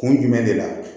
Kun jumɛn de la